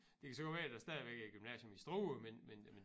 Det kan så godt være der stadigvæk er et gymnasium i Struer men men men